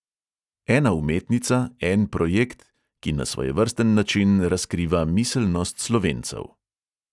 Ena umetnica, en projekt, ki na svojevrsten način razkriva miselnost slovencev.